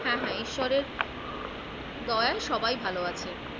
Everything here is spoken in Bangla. হ্যাঁ হ্যাঁ ঈশ্বরের দয়ায় সবাই ভালো আছে।